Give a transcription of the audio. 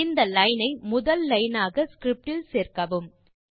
இந்த லைன் ஐ முதல் லைன் ஆக ஸ்கிரிப்ட் இல் சேர்க்கவும்